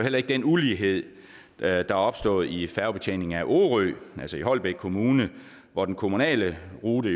den ulighed der er opstået i færgebetjeningen af orø i holbæk kommune hvor den kommunale rute